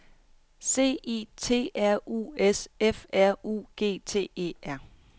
C I T R U S F R U G T E R